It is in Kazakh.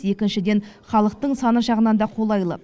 екіншіден халықтың саны жағынан да қолайлы